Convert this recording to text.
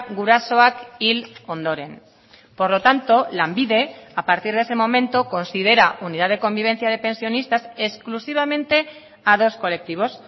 gurasoak hil ondoren por lo tanto lanbide a partir de ese momento considera unidad de convivencia de pensionistas exclusivamente a dos colectivos